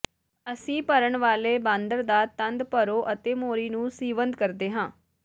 ਅਸੀਂ ਭਰਨ ਵਾਲੇ ਬਾਂਦਰ ਦਾ ਤੰਦ ਭਰੋ ਅਤੇ ਮੋਰੀ ਨੂੰ ਸੀਵੰਦ ਕਰਦੇ ਹਾਂ